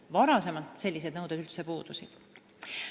Varem sellised nõuded üldse puudusid.